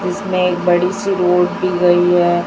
जिसमें एक बड़ी सी रोड दी गई है।